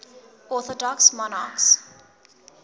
orthodox monarchs